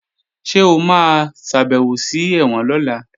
Ṣé o máa ṣàbèwò sí ẹ̀wọ̀n lọ́la?